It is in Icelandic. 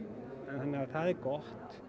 þannig að það er gott